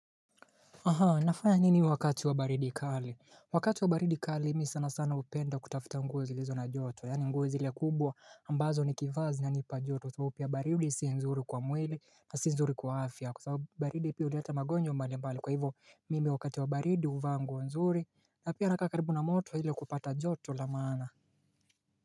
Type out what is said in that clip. Nafanya nini wakati wa baridi kali Wakati wa baridi kali mi sana sana hupenda kutafuta nguo zilizo na joto Yani ngozi zile kubwa ambazo nikivaa zinanipa joto soipa ya baridi si nzuri kwa mwili na si nzuri kwa afya Kwa sababu baridi pia huleta magonjwa mbali mbali Kwa hivo mimi wakati wa baridi huvaa nguo nzuri na pia nakaa karibu na moto ile kupata joto la maana.